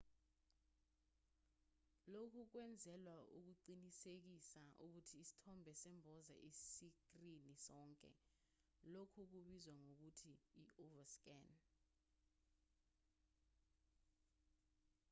lokhu kwenzelwa ukuqinisekisa ukuthi isithombe semboza isikrini sonke lokhu kubizwa ngokuthi i-overscan